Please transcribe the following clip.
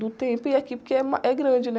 Do tempo e aqui porque é ma, é grande, né?